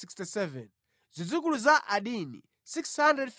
Zidzukulu za Adini 655